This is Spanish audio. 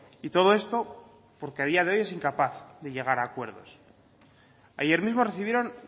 y todo esto porque a día de hoy es incapaz de llegar a acuerdos ayer mismo recibieron